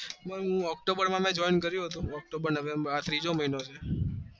હું october november ત્રીજો મહિના માં આવ્યો તો